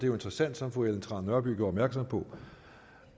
jo interessant som fru ellen trane nørby gjorde opmærksom på